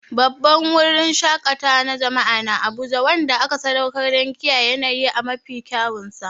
Babban wurin shaƙatawa na jama'a na Abuja wanda aka sadaukar don kiyaye yanayi a mafi kyawunsa.